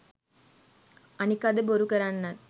අනික අද බොරු කරන්නත්